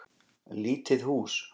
Lítið hús.